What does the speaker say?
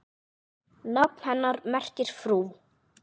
Nafn hennar merkir frú.